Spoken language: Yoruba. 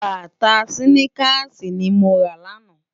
Bátá siniká ni mó ra láná